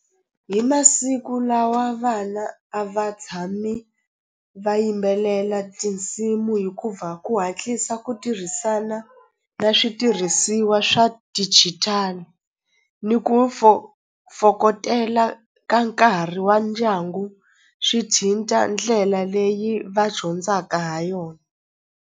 Hi masiku lawa vana a va tshami va yimbelela tinsimu hikuva ku hatlisa ku tirhisana na switirhisiwa swa digital ni ku fokotela ka nkarhi wa ndyangu swi ndlela leyi va dyondzaka ha yona.